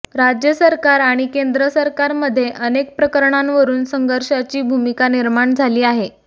राज्य सरकार आणि केंद्र सरकारमध्ये अनेक प्रकरणांवरून संघर्षाची भूमिका निर्माण झाली आहे